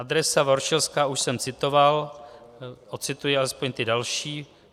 Adresa Voršilská - už jsem citoval, ocituji alespoň ty další.